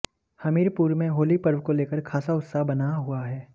हमीरपुर में होली पर्व को लेकर खासा उत्साह बना हुआ है